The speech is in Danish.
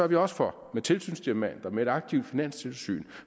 vi også for med tilsynsdiamanten og med et aktivt finanstilsyn